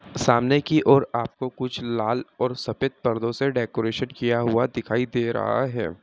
सामने की ओर आपको कुछ लाल और सफेद पर्दों से डेकोरेशन किया हुआ दिखाई दे रहा है।